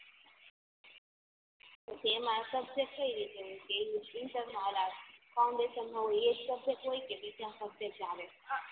પછી એમાં સબ્જેક્ટ કઈ રીતે હોય કે ઇન્ટર અલા ફાઉંડેસન હોય એજ સબ્જેક્ટ હોય કે બીજા સબ્જેક્ટ આવે